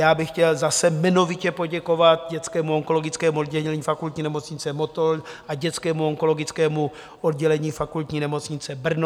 Já bych chtěl zase jmenovitě poděkovat dětskému onkologickému oddělení Fakultní nemocnice Motol a dětskému onkologickému oddělení Fakultní nemocnice Brno.